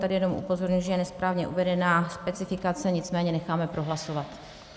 Tady jenom upozorňuji, že je nesprávně uvedená specifikace, nicméně necháme prohlasovat.